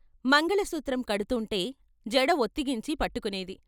మంగళసూత్రం కడుతూంటే జడ వొత్తిగించి పట్టుకునేది.